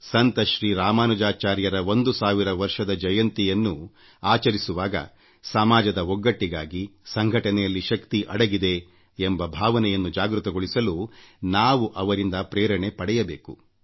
ಸಂತ ಶ್ರೀ ರಾಮಾನುಜಾಚಾರ್ಯರ 1೦೦೦ ವರ್ಷದ ಜಯಂತಿಯನ್ನು ಆಚರಿಸುವಾಗ ಸಮಾಜದ ಒಗ್ಗಟ್ಟಿಗಾಗಿಸಂಘಟನೆಯಲ್ಲಿ ಶಕ್ತಿ ಅಡಗಿದೆ ಎಂಬ ಭಾವನೆಯನ್ನು ಜಾಗೃತಗೊಳಿಸಲು ನಾವು ಅವರಿಂದ ಪ್ರೇರಣೆ ಪಡೆಯಬೇಕು